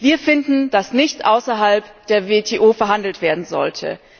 Wir finden, dass nichts außerhalb der WTO verhandelt werden sollte.